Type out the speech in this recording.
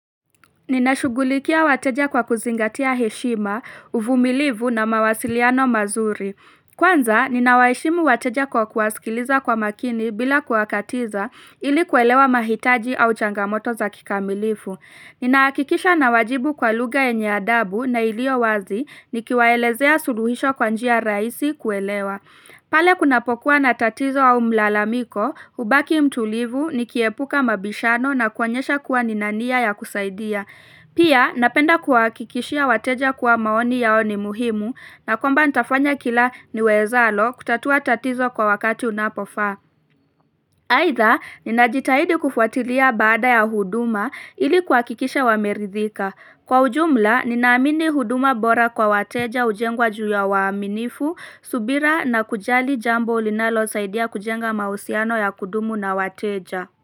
Ninashugulikia wateja kwa kuzingatia heshima, uvumilivu na mawasiliano mazuri. Kwanza, ninawaheshimu wateja kwa kuwasikiliza kwa makini bila kuakatiza ili kuelewa mahitaji au changamoto za kikamilifu. Ninaakikisha nawajibu kwa luga enya adabu na iliyo wazi nikiwaelezea suluhisho kwanjia rahisi kuelewa. Pale kunapokuwa na tatizo wa mlalamiko, ubaki mtulivu ni kuepuka mabishano na kuanyesha kuwa nina nia ya kusaidia. Pia, napenda kuhakikishia wateja kuwa maoni yao ni muhimu na kwamba ntafanya kila ni wezalo kutatua tatizo kwa wakati unapofaa. Haitha, ninajitahidi kufuatilia baada ya huduma ilikuhakikisha wameridhika. Kwa ujumla, ninaamini huduma bora kwa wateja ujengwa juu ya waaminifu, subira na kujali jambo ulinalosaidia kujenga mahusiano ya kudumu na wateja.